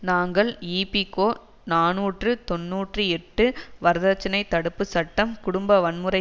நாங்கள் இபிகோ நாநூற்று தொன்னூற்றி எட்டு வரதட்சணை தடுப்பு சட்டம் குடும்ப வன்முறை